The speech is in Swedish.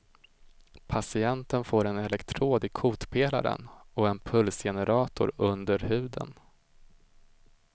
Patienten får en elektrod i kotpelaren och en pulsgenerator under huden.